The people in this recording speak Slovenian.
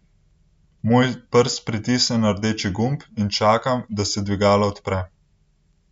Moj prst pritisne na rdeči gumb in čakam, da se dvigalo odpre.